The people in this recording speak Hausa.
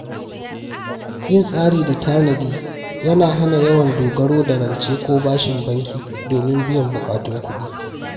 Yin tsari da tanadi yana hana yawan dogaro da rance ko bashin banki domin biyan buƙatun kuɗi.